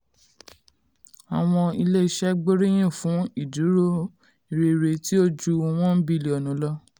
àwọn ilé-iṣẹ́ gbóríyìn fún ìdúró rere tí ó ju $1 bílíọ̀nù lọ.